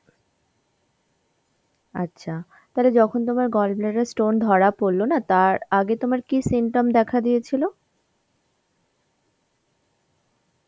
আচ্ছা, তালে যখন তোমার gallbladder এর stone ধরা পড়লো না তার আগে তোমার কী symptom দেখা দিয়েছিল?